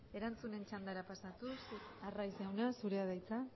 erantzunen txandara pasatuz arraiz jauna zurea da hitza